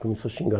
Começou a xingar.